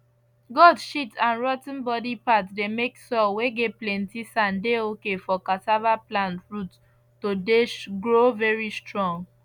goat shit and rot ten body part dey make soil whey get plenty sand dey okay for cassava plant root to dey grow very strong